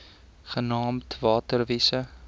genaamd water wise